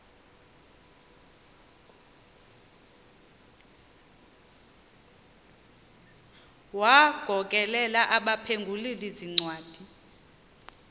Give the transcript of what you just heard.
wagokelela abaphengululi zincwadi